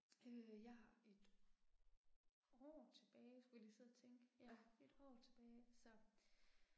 Øh jeg har et år tilbage skulle jeg lige sidde og tænke, ja, et år tilbage så